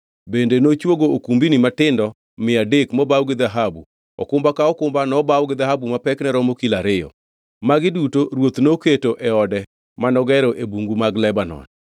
Bende nochwogo okumbni matindo mia adek mobaw gi dhahabu, okumba ka okumba nobaw gi dhahabu ma pekne romo kilo ariyo. Magi duto ruoth noketo e ode manogero e Bungu mag Lebanon.